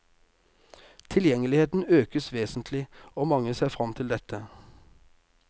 Tilgjengeligheten økes vesentlig, og mange ser frem til dette.